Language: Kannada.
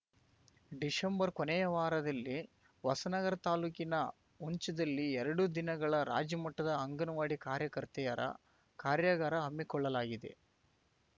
ಡಿಸೆಂಬರ್‌ ಕೊನೆಯ ವಾರದಲ್ಲಿ ಹೊಸನಗರ ತಾಲ್ಲೂಕಿನ ಹುಂಚದಲ್ಲಿ ಎರಡು ದಿನಗಳ ರಾಜ್ಯಮಟ್ಟದ ಅಂಗನವಾಡಿ ಕಾರ್ಯಕರ್ತೆಯರ ಕಾರ್ಯಾಗಾರ ಹಮ್ಮಿಕೊಳ್ಳಲಾಗಿದೆ